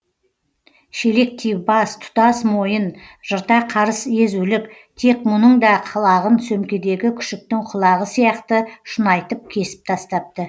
шелектей бас тұтас мойын жырта қарыс езулік тек мұның да құлағын сөмкедегі күшіктің құлағы сияқты шұнайтып кесіп тастапты